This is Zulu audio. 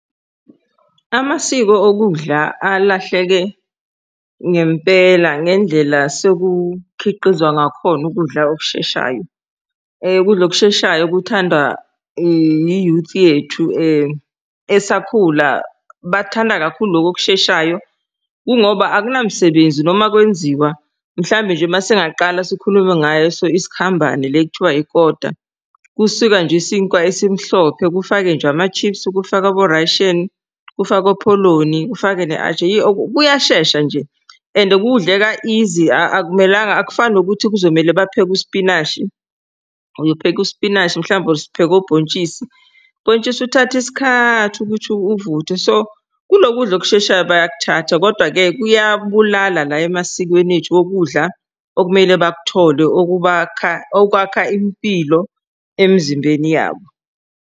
Amasiko okudla alahleke ngempela ngendlela sekukhiqizwa ngakhona ukudla okusheshayo. Ukudla okusheshayo kuthandwa i-youth yethu esakhula. Bathanda kakhulu lokhu okusheshayo kungoba akunamsebenzi noma kwenziwa mhlambe nje masingaqala sikhulume ngaso isikhambane le ekuthiwa ikota. Kusika nje isinkwa esimhlophe kufake nje ama-chips kufake abo rasheni kufakwe opholoni ufake ne-atchar kuyashesha nje and kudleka easy akumelanga akufani nokuthi kuzomele bapheke usipinashi uyopheka usipinashi. Mhlawumbe upheke obhontshisi, bhontshisi uthatha isikhathi ukuthi uvuthwe so kulo kudla okusheshayo bayakuthatha. Kodwa-ke kuyabulala la emasikweni ethu okudla okumele bakuthole okubakha, okwakha impilo emzimbeni yabo.